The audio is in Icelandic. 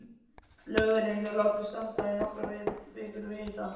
Lögurinn er látinn standa í nokkrar vikur við hita.